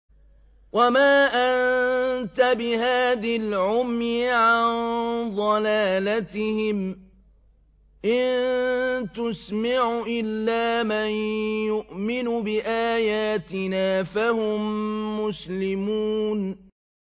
وَمَا أَنتَ بِهَادِي الْعُمْيِ عَن ضَلَالَتِهِمْ ۖ إِن تُسْمِعُ إِلَّا مَن يُؤْمِنُ بِآيَاتِنَا فَهُم مُّسْلِمُونَ